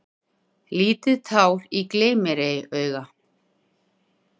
Lítið tár í gleym-mér-ei-auga.